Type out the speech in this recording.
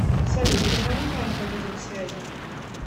салют позвони маме по видеосвязи